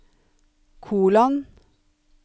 kolon